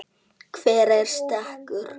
Hver er sekur?